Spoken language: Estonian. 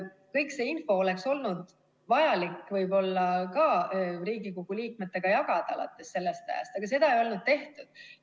Kogu seda infot oleks olnud vajalik võib-olla ka Riigikogu liikmetega jagada alates sellest ajast, aga seda ei olnud tehtud.